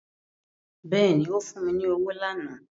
Bẹ́ẹ̀ni ó fún mi ní owó lánàá